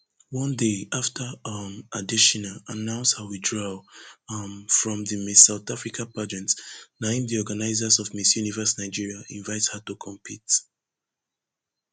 one day afta um adetshina announce her withdrawal um from di miss south africa pageant na im di organizers of miss universe nigeria invite her to compete